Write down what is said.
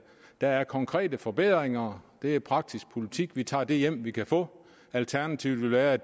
der er konkrete forbedringer det er praktisk politik vi tager det hjem vi kan få alternativet ville være